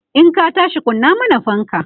in ka tashi kunna mana fanka!